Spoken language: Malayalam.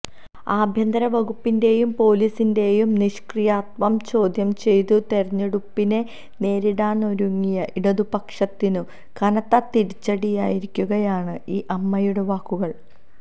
ആഭ്യന്തര വകുപ്പിന്റെയും പൊലീസിന്റെയും നിഷ്ക്രിയത്വം ചോദ്യം ചെയ്തു തെരഞ്ഞെടുപ്പിനെ നേരിടാനൊരുങ്ങിയ ഇടതുപക്ഷത്തിനു കനത്ത തിരിച്ചടിയായിരിക്കുകയാണ് ഈ അമ്മയുടെ വാക്കുകൾ